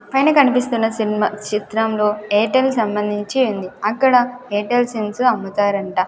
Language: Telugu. పైన కనిపిస్తున్న సినిమా చిత్రంలో ఎయిర్టెల్ సంబంధించి ఉంది అక్కడ ఎయిర్టెల్ సెన్స్ అమ్ముతారు అంట.